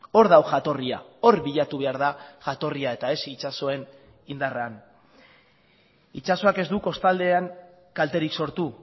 hor dago jatorria hor bilatu behar da jatorria eta ez itsasoen indarrean itsasoak ez du kostaldean kalterik sortu